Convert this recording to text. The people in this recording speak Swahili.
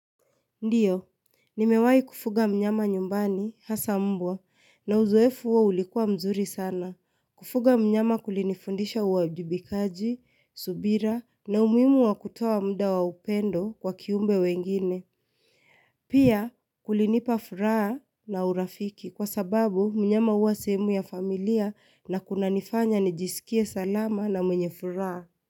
Ndiyo, nimewai kufuga mnyama nyumbani, hasa mbwa, na uzoefu huo ulikuwa mzuri sana. Kufuga mnyama kulinifundisha uwajibikaji, subira, na umuhimu wa kutuoa muda wa upendo kwa kiumbe wengine. Pia, kulinipa furaha na urafiki kwa sababu mnyama huwa sehemu ya familia na kuna nifanya nijisikie salama na mwenye furaha.